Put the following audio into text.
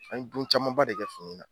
An ye don caman ba de kɛ fini na